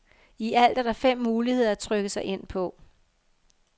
I alt er der fem muligheder at trykke sig ind på.